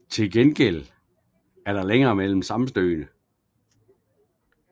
Til gengæld er der længere mellem sammenstødene